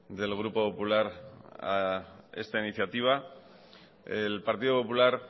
del grupo popular a esta iniciativa el partido popular